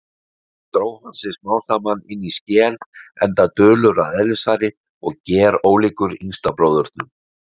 Dró hann sig smámsaman inní skel, enda dulur að eðlisfari og gerólíkur yngsta bróðurnum.